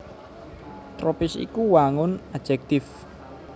Tropis iku wangun ajektivé